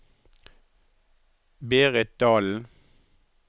Berit Dahlen